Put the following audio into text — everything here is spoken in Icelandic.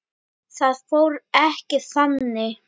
Það fór ekki þannig.